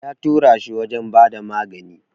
Ya tura shi wajen ba da magani.